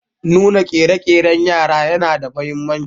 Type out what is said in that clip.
Nuna ƙerekeren yara yana da mahimmanci.